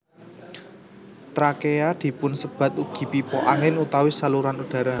Trakea dipunsebat ugi pipa angin utawi saluran udara